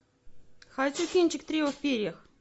хочу кинчик трио в перьях